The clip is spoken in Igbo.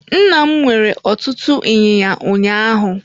Nna m nwere ọtụtụ inyinya ụnyaahụ.